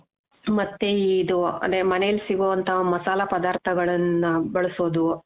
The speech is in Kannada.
ಮತ್ತೆ ಇದು ಅದೇ ಮನೆಲ್ ಸಿಗೋವಂತ ಮಸಾಲ ಪದಾರ್ಥಗಳನ್ನ ಬಳಸೋದು .